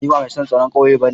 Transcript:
Ni ba mai son taron kauye bane.